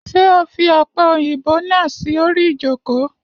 Ṣé o fi ọ̀pẹ̀-òyìnbò náà sorí ìjókò?